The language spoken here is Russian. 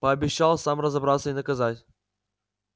пообещал сам разобраться и наказать